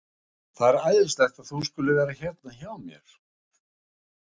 Það er æðislegt að þú skulir vera hérna hjá mér.